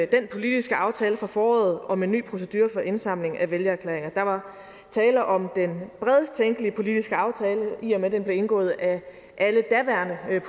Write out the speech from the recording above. den politiske aftale fra foråret om en ny procedure for indsamling af vælgererklæringer der var tale om den bredest tænkelige politiske aftale i og med den blev indgået af alle daværende